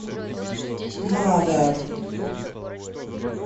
мазер